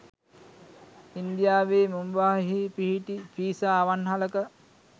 ඉන්දියාවේ මුම්බායිහි පිහිටි පීසා අවන්හලක